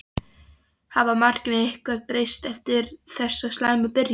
Hafa markmiðin eitthvað breyst eftir þessa slæmu byrjun?